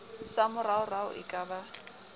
sa moraorao e ka ba